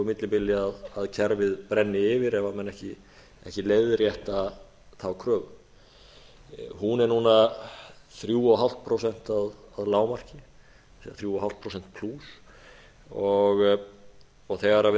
millibili að kerfið brenni yfir ef menn ekki leiðrétta þá kröfu hún er núna þremur og hálft prósent að lágmarki þrjú og hálft prósent plús og þegar við